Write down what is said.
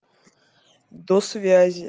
до связи